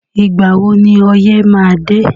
Ìgbà wo ni ọyẹ́ má a dé?